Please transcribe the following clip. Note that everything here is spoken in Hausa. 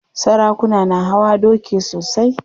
Sarakuna na hawa doki sosai.